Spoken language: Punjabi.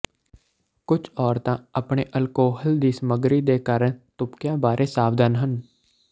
ਕੁਝ ਔਰਤਾਂ ਆਪਣੇ ਅਲਕੋਹਲ ਦੀ ਸਮਗਰੀ ਦੇ ਕਾਰਨ ਤੁਪਕਿਆਂ ਬਾਰੇ ਸਾਵਧਾਨ ਹਨ